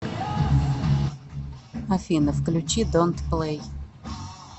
афина включи донт плэй